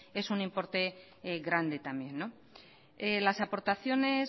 es un importe grande también las aportaciones